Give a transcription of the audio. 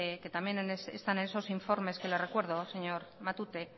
en esos informes que le recuerdo señor matute